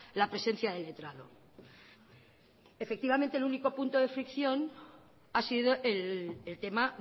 la presencia de letrado efectivamente el único punto de fricción ha sido el tema